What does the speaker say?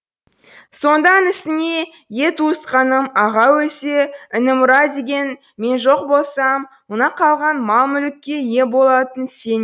сонда інісіне е туысқаным аға өлсе іні мұра деген мен жоқ болсам мына қалған мал мүлікке ие болатын сен